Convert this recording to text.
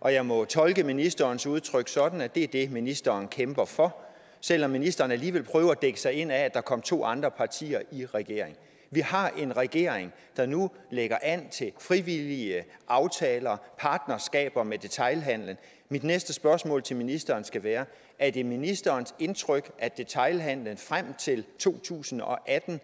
og jeg må tolke ministerens udtryk sådan at det er det ministeren kæmper for selv om ministeren alligevel prøver at dække sig ind under at der kom to andre partier i regeringen vi har en regering der nu lægger an til frivillige aftaler partnerskaber med detailhandelen mit næste spørgsmål til ministeren skal være er det ministerens indtryk at detailhandelen frem til to tusind og atten